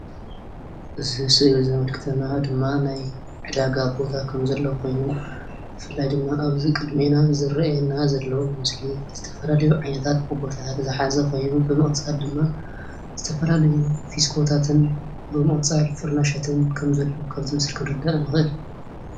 እዚ ስእሊ ዘምልክተና ድማ ናይ ዕዳጋ ቦታ ከምዘሎ ኮይኑ ብፍላይ ኣብዚ ቅድሜና ዝርኣየና ዘሎ ምስሊ ዝተፈላለዩ ከቦርታተት ዝሓዘ ኮይኑ ድማ ብምቅፃል ድማ ዝተፈላለዩ ፊስቶታት ብምቅፃል ፍርናሻትን ከምዘሎ ካብዚ ምስሊ ክንርዳእ ንኽእል።